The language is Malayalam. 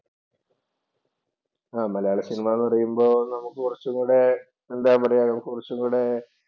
ആഹ് മലയാള സിനിമ പറയുമ്പോ നമുക്ക് കൊറച്ചും കൂടെ എന്താ നമുക്ക് കൊറച്ചുകൂടെ